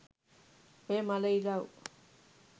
ඔය මළ ඉලව්